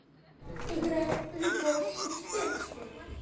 играй любовь успенскую